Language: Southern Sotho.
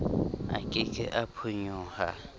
a ke ke a phonyoha